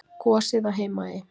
Gosið á Heimaey.